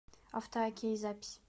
автоокей запись